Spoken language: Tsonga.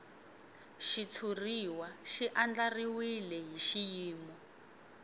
xitshuriwa xi andlariwile hi xiyimo